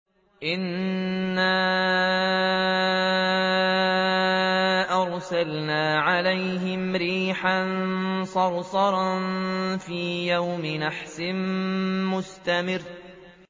إِنَّا أَرْسَلْنَا عَلَيْهِمْ رِيحًا صَرْصَرًا فِي يَوْمِ نَحْسٍ مُّسْتَمِرٍّ